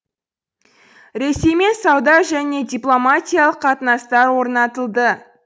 ресеймен сауда және дипломатиялық қатынастар орнатылды